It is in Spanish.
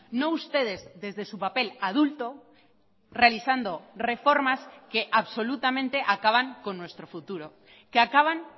no ustedes desde su papel adulto realizando reformas que absolutamente acaban con nuestro futuro que acaban